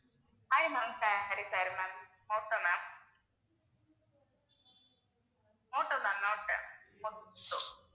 sorry sorry ma'am Moto ma'am மோட்டோதான் Moto